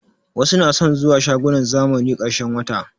Wasu na son zuwa shagunan zamani ƙarshen wata